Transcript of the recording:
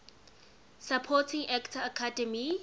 supporting actor academy